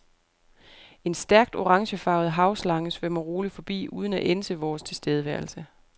En stærkt orangefarvet havslange svømmer roligt forbi, uden at ænse vores tilstedeværelse.